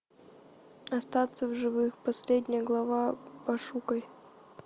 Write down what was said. остаться в живых последняя глава пошукай